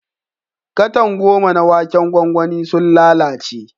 Katan goma na waken gwangwani sun lalace.